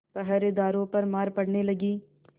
पहरेदारों पर मार पड़ने लगी